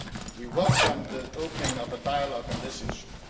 We welcome the opening of a dialogue on this issue.